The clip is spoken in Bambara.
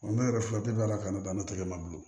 ne yɛrɛ furakɛli bɛ ala ka ne banna tɛ ne ma bilen